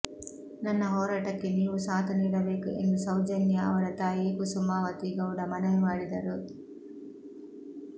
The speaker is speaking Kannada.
ನನ್ನ ಹೋರಾಟಕ್ಕೆ ನೀವೂ ಸಾಥ್ ನೀಡಬೇಕು ಎಂದು ಸೌಜನ್ಯಾ ಅವರ ತಾಯಿ ಕುಸುಮಾವತಿ ಗೌಡ ಮನವಿ ಮಾಡಿದರು